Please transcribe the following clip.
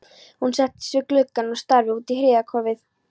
Hún settist við gluggann og starði út í hríðarkófið.